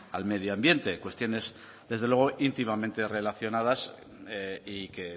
al medioambiente cuestiones desde luego íntimamente relacionadas y que